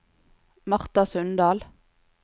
Martha Sundal